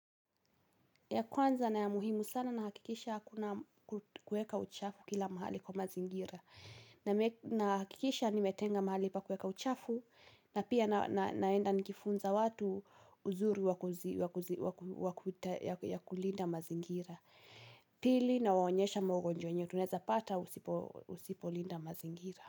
Ya kwanza na ya muhimu sana na hakikisha hakuna kuweka uchafu kila mahali kwa mazingira. Na hakikisha nimetenga mahali pa kuweka uchafu na pia naenda nikifunza watu uzuri wa kulinda mazingira. Pili nawaonyesha magonjwa unayoweza pata usipolinda mazingira.